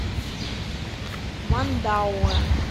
мандауэ